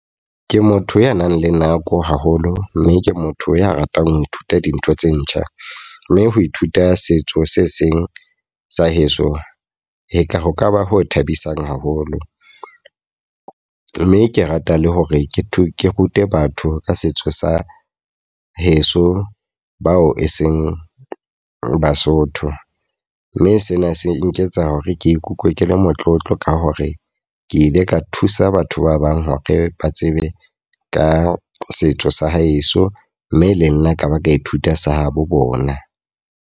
Ke motho ya nang le nako haholo. Mme ke motho ya ratang ho ithuta dintho tse ntjha. Mme ho ithuta setso se seng sa heso e ka ho ka ba ho thabisang haholo. Mme ke rata le hore ke rute batho ka setso sa heso, bao e seng Basotho. Mme sena se nketsa ke ikutlwe ke le motlotlo ka hore ke ile ka thusa batho ba bang hore ba tsebe ka setso sa heso. Mme le nna ka ba ka ithuta sa habo bona.